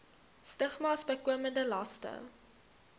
stigmas bykomende laste